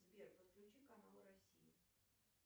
сбер подключи канал россия